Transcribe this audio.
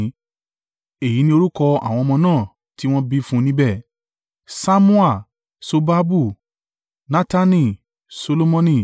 Èyí ni orúkọ àwọn ọmọ náà tí wọ́n bí fún un níbẹ̀: Ṣammua, Ṣobabu, Natani, Solomoni,